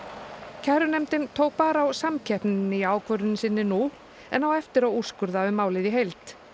kærunefndin tók bara á samkeppninni í ákvörðun sinni nú en á eftir að úrskurða um málið í heild